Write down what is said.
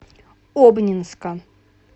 обнинска